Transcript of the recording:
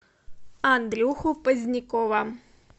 андрюху позднякова